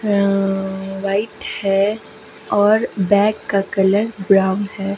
White है और back का कलर ब्राउन है.